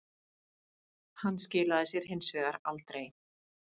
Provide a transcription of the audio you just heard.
Hann skilaði sér hins vegar aldrei